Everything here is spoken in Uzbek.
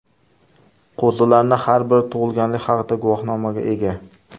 Qo‘zilarning har biri tug‘ilganlik haqida guvohnomaga ega.